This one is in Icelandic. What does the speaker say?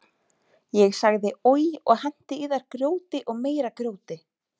Ég sagði oj og henti í þær grjóti og meira grjóti.